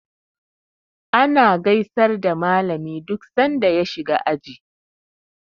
Ana gaisar da malami duk san da ya shiga aji.